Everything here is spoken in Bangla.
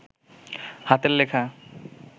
হাতের লেখা